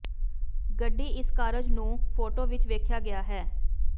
ਗੱਡੀ ਇਸ ਕਾਰਜ ਨੂੰ ਫੋਟੋ ਵਿੱਚ ਵੇਖਾਇਆ ਗਿਆ ਹੈ